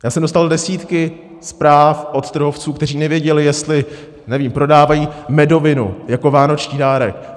Já jsem dostal desítky zpráv od trhovců, kteří nevěděli, jestli, nevím, prodávají medovinu jako vánoční dárek.